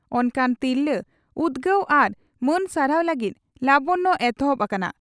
ᱚᱱᱠᱟᱱ ᱛᱤᱨᱞᱟᱹ ᱩᱫᱽᱜᱟᱹᱣ ᱟᱨ ᱢᱟᱹᱱ ᱥᱟᱨᱦᱟᱣ ᱞᱟᱹᱜᱤᱫ 'ᱞᱟᱵᱚᱱᱭᱚ' ᱮᱛᱚᱦᱚᱵ ᱟᱠᱟᱱᱟ ᱾